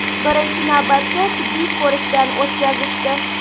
Birinchi navbatda tibbiy ko‘rikdan o‘tkazishdi.